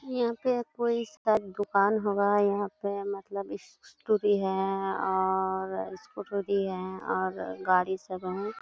यहाँ पे कोई इसका दुकान होगा। यहाँ पे मतलब स्कूटी है और स्कूटर भी है और गाड़ी सब वहाँ --